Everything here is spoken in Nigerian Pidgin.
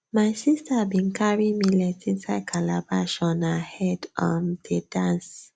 my sister bin carry millet inside calabash on her head um dey dance